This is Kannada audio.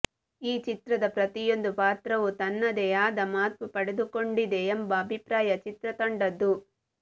ಈ ಚಿತ್ರದ ಪ್ರತಿಯೊಂದು ಪಾತ್ರವೂ ತನ್ನದೇ ಆದ ಮಹತ್ವ ಪಡೆದುಕೊಂಡಿದೆ ಎಂಬ ಅಭಿಪ್ರಾಯ ಚಿತ್ರತಂಡದ್ದು